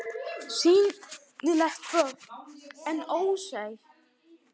SÝNILEG BORG EN ÓSÉÐ